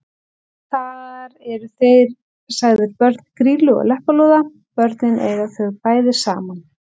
Þar eru þeir sagðir börn Grýlu og Leppalúða: Börnin eiga þau bæði saman